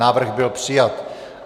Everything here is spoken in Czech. Návrh byl přijat.